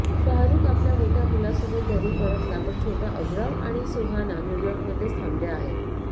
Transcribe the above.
शाहरूख आपल्या मोठ्या मुलासोबत घरी परतला पण छोटा अबराम आणि सुहाना न्यूयॉर्कमध्येच थांबले आहेत